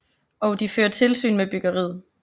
Og de fører tilsyn med byggeriet